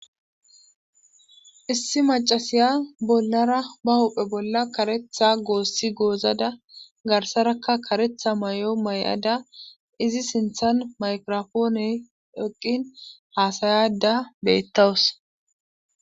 issi macasiya bollara ba huphe bolla karetha goosi goozada garsaraka karetha may7o may7ada izi sinthan maykirofooney eqqin haasayada beettawus